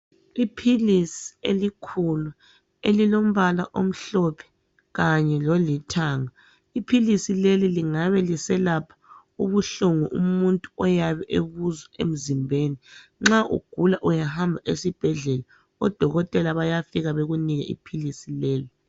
Iphilisi elikhulu elilombala omhlophe kanye lolithanga. Iphilisi leli lingabe liselapha ubuhlungu umuntu oyabe ebuzwa emzimbeni. Nxa ugula uyahamba esibhedlela odokotela bayafika bekunike iphilisi lelo.